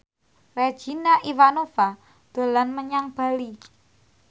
Regina Ivanova dolan menyang Bali